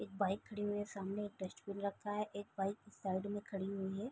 एक बाइक खड़ी हुई है सामने एक डस्टबिन रखा है एक बाइक साइड में खड़ी हुई है।